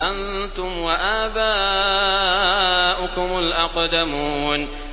أَنتُمْ وَآبَاؤُكُمُ الْأَقْدَمُونَ